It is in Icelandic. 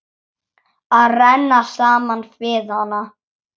Að renna saman við hana.